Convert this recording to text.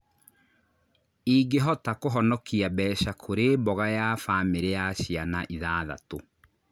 ĩngĩhota kũhonokia mbeca kũri mboga ya bamĩrĩ ya ciana ithathatũ